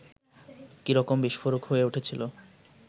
কী রকম বিস্ফোরক হয়ে উঠেছিল